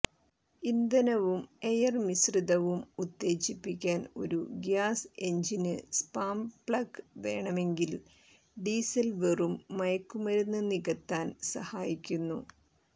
ഇന്ധനവും എയർ മിശ്രിതവും ഉത്തേജിപ്പിക്കാൻ ഒരു ഗ്യാസ് എഞ്ചിന് സ്പാം പ്ലഗ് വേണമെങ്കിൽ ഡീസൽ വെറും മയക്കുമരുന്ന് നികത്താൻ സഹായിക്കുന്നു